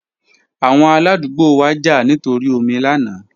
Awọn aladugbo wa ja nitori omi lana